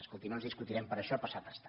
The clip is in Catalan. escolti no ens discutirem per això passat està